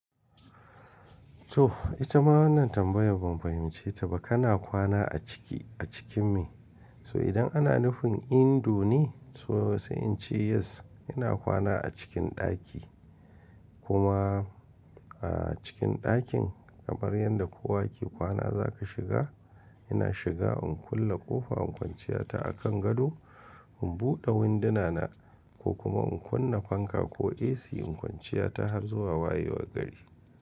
To ita ma wannan tambayar ban fahimce ta ba. Kana kwana a ciki a cikin me? So idan ana nufin indo ne? To sai in ce yes ina kwana a cikin ɗaki. Kuma a cikin ɗakin kamar yadda kowa ke kwana za ka shiga. Ina shiga in kulle ƙofa in kwanciya ta akan gado. In buɗe winduna na ko kuma in kunna fanka ko AC in kwanciya ta har zuwa wayewar gari.